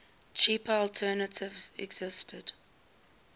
cheaper alternative existed